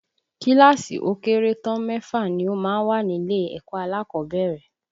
Kíláàsì ó kéré tán mẹ́fà ni ó máa ń wà nílé ẹ̀kọ́ alákọ̀ọ́bẹ̀rẹ̀